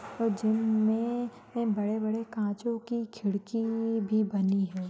और जिम मे बडे बडे कांचो कि खिडकी भी बनी है।